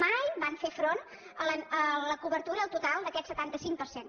mai van fer front a la cobertura total d’aquest setanta cinc per cent